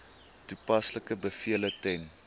toepaslike bevele ten